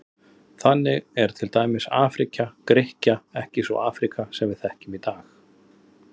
Þannig er til dæmis Afríka Grikkja ekki sú Afríka sem við þekkjum í dag.